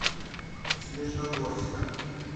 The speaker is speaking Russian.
снежногорска